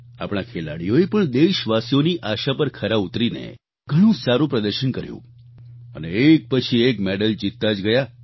આપણા ખેલાડીઓએ પણ દેશવાસીઓની આશા પર ખરા ઉતરીને ઘણું જ સારું પ્રદર્શન કર્યું અને એક પછી એક મેડલ જીતતા જ ગયા